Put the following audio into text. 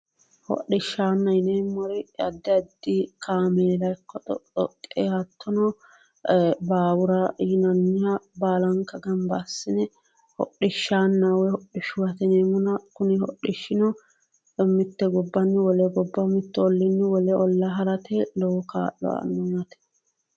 hodishshanna yineemmori addi addi kaameella ikko hattono dhoqqi-doqqe baawura yinanniha baalanka gamba assine hodhishaanna woy hodhishubba yineemmo kuni hodhishshino mitte gobbanni wole gobba hattono wolu ollinni wole olla harate lowo kaa'lo aanno yaate